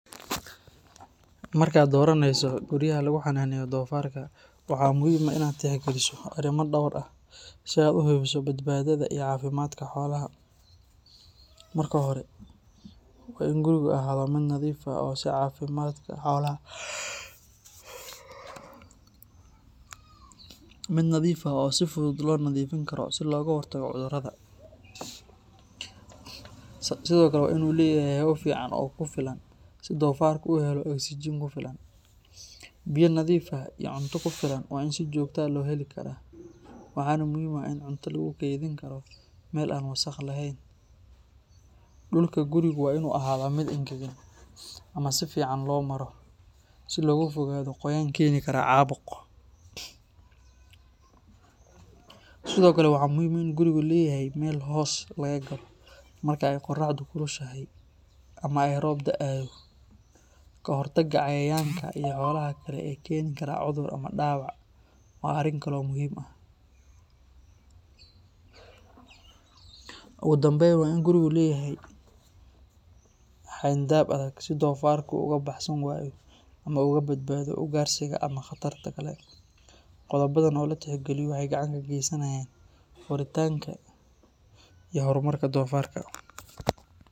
Markaad doraneyso guryaha lagu xananeeyo, marka hore waan inuu ahaada mid nadiif ah oo ai fudud loo nadiifin Karo, waa inuu leyahay hawo fican, dulka guriga waa inuu yahay mid engegan, guriga inuu leyahay meel hoos laga galo qoraxda iyo roobka, ogu danbeyn guriga inuu leyahay xeen daab adag.